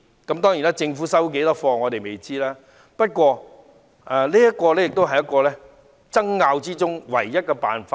我們不知道政府會接受當中的多少意見，不過，這是爭拗中的唯一辦法。